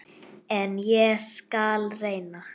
En ég skal reyna.